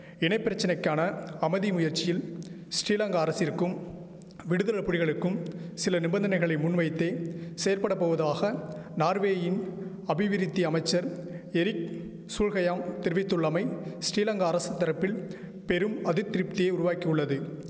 இனைப்பிரச்சனைக்கான அமதி முயற்சியில் ஸ்ரீலங்கா அரசிற்கும் விடுதல புலிகளுக்கும் சில நிபந்தனைகளை முன்வைத்தே செயற்படபோவதாக நார்வேயின் அபிவிருத்தி அமைச்சர் எரிக் சுல்ஹயாம் தெரிவித்துள்ளமை ஸ்ரீலங்கா அரசுதரப்பில் பெரும் அதிதிருப்தியை உருவாக்கியுள்ளது